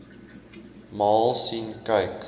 maal sien kyk